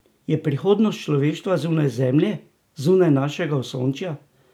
Je prihodnost človeštva zunaj Zemlje, zunaj našega osončja?